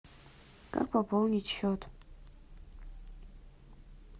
как пополнить счет